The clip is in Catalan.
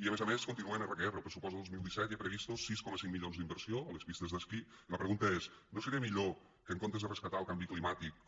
i a més a més continuen erra que erra al pressupost del dos mil disset hi ha previstos sis coma cinc milions d’inversió a les pistes d’esquí i la pregunta és no seria millor que en comptes de rescatar el canvi climàtic